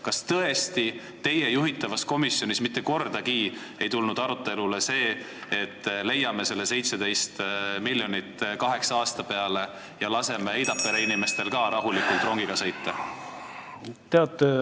Kas teie juhitavas komisjonis ei tulnud tõesti mitte kordagi arutelule see, et leiame selle 17 miljonit kaheksa aasta peale ja laseme Eidapere inimestel ka rahulikult rongiga sõita?